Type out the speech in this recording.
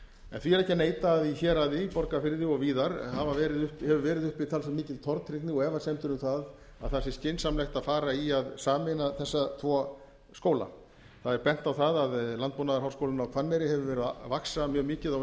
en því er ekki að neita að í héraði borgarfirði og víðar hefur verið uppi talsvert mikil tortryggni og efasemdir um að það sé skynsamlegt að fara í að sameina þessa tvo skóla það er bent á það að landbúnaðarháskólinn á hvanneyri hefur verið að vaxa mjög mikið á